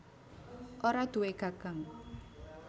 Ora duwé gagang